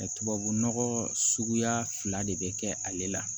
tubabu nɔgɔ suguya fila de be kɛ ale la